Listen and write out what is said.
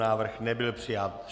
Návrh nebyl přijat.